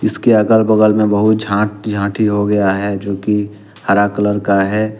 इसके अगल बगल में बहुत झांठ झांति हो गया है जो कि हर कलर का है।